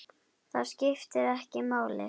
Það skiptir ekki máli.